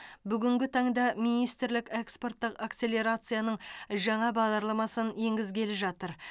бүгінгі таңда министрлік экспорттық акселерацияның жаңа бағдарламасын енгізгелі жатыр